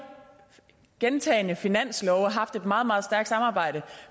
gentagne finanslove haft et meget meget stærkt samarbejde